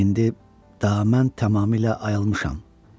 İndi tamamilə ayılmışam.